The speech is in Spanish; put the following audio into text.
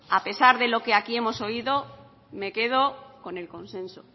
a pesar de lo que aquí hemos oído me quedo con el consenso